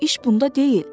Ancaq iş bunda deyil.